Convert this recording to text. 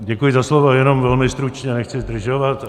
Děkuji za slovo, jenom velmi stručně, nechci zdržovat.